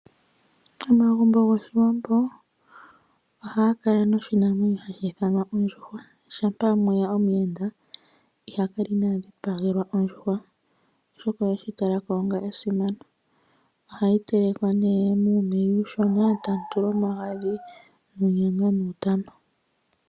Omagumbo goshiwambo ohaga kala noshinamwenyo hashi ithanwa ondjuhwa, shampa mweya omuyenda iha kala inaa dhipagelwa ondjuhwa oshoka oheshi talako onga esimano. Oha yi telekwa nee muumeya uushona tamu tulwa omagadhi muye nuutama.